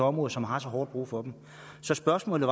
område som har så hårdt brug for dem så spørgsmålet